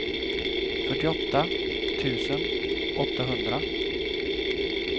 fyrtioåtta tusen åttahundra